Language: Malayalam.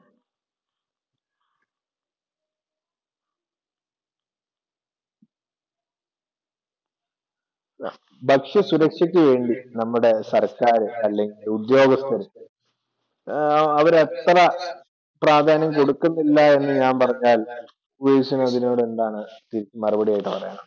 ഭക്ഷ്യസുരക്ഷക്കു വേണ്ടി നമ്മുടെ സർക്കാര് അല്ലെങ്കിൽ ഉദ്യോഗസ്ഥര് അവരത്ര പ്രാധാന്യം കൊടുക്കുന്നില്ല എന്ന് ഞാൻ പറഞ്ഞാൽ എന്താണ് മറുപടിയായിട്ടു പറയാനുള്ളത്?